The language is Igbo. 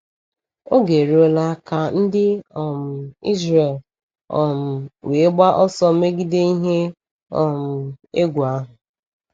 Oge eruola ka ndị um Ịzrel um wee gbaa ọsọ megide ihe um egwu ahụ.